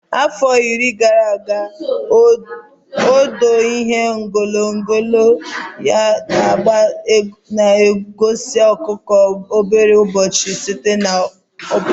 Afọ iri gara aga, odo ihe onyonyo nno na Aba na-egosi ọkụkọ obere ụbọchị Satọde ọ bụla.